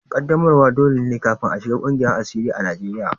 Ƙaddamarwa dole ne kafin a shiga ƙungiyar asiri a Najeriya